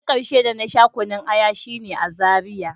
Na karshe da na sha kunun aya shine a Zaria.